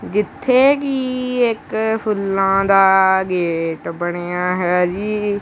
ਜਿੱਥੇ ਕਿ ਇੱਕ ਫੁੱਲਾਂ ਦਾ ਗੇਟ ਬਣਿਆ ਹੈ ਜੀ।